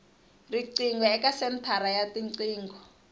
riqingho eka senthara ya tiqingho